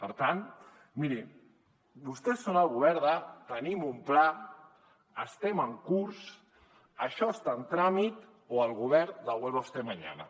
per tant miri vostès són el govern de tenim un pla estem en curs això està en tràmit o el govern del vuelva usted mañana